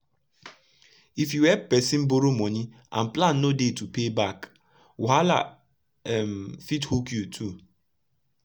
if u epp persin borrow moni and plan no dey to pay back wahala um fit hook u too